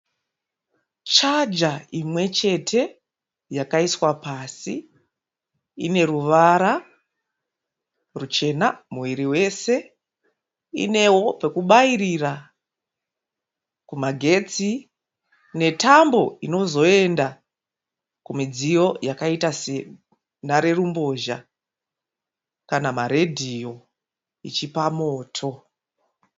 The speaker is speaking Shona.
Chaja imwechete yakaiswa pasi ineruvara ruchena muviri wese inewo pekubairira kumagetsi netambo inozoenda kumidziyo yakaita senharerumbozha kana maredhiyo ichipa moto.